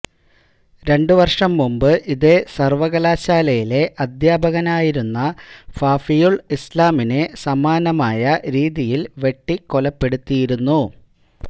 രണ്ട് വര്ഷം മുമ്പ് ഇതേ സര്വ്വകലാശാലയിലെ അധ്യാപകനായിരുന്ന ഫാഫിയുല് ഇസ്ലാമിനെ സമാനമായ രീതിയില് വെട്ടികൊലപ്പെടുത്തിയിരുന്നു